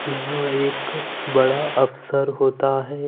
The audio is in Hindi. यहां एक बड़ा ऑफसर होता है।